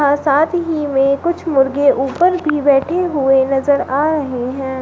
और साथ ही में कुछ मुर्गे ऊपर भी बैठे हुए नजर आ रहे हैं।